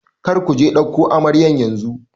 Kar ku je ɗauko amaryar yanzu!